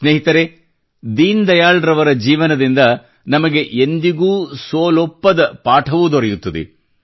ಸ್ನೇಹಿತರೇ ದೀನ್ ದಯಾಳ್ ರವರ ಜೀವನದಿಂದ ನಮಗೆ ಎಂದಿಗೂ ಸೋಲೊಪ್ಪದ ಪಾಠವೂ ದೊರೆಯುತ್ತದೆ